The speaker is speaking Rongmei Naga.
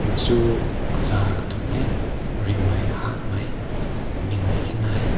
su kaza katun meh rim nai ha nai nee nai te nai.